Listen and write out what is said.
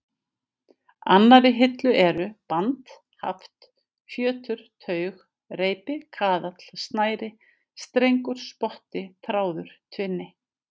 annarri hillu eru: band, haft, fjötur, taug, reipi, kaðall, snæri, strengur, spotti, þráður, tvinni.